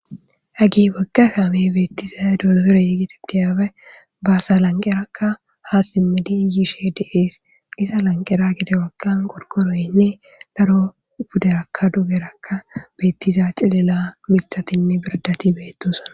hagey wogga kaame beettiza dozore getetetes, baasa lanqerakka haa simmidi yiishe de'es, iza lanqera gede bagga gorkoroynne daro buderakka dugerakka beettiza cilila mitatinne biradati beettosana